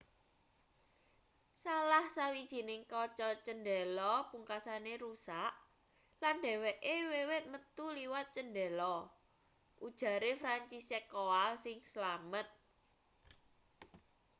salah sawijining kaca cendhela pungkasane rusak lan dheweke wiwit metu liwat cendhela ujare franciszek kowal sing slamet